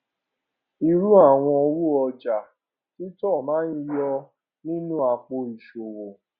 irú àwọn owó ọjà títòa máa ń yọ nínú àpò ìṣòwò